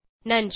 நன்றி